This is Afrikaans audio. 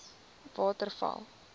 waterval